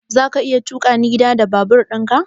Zaka iya tukani gida da babur ɗin ka?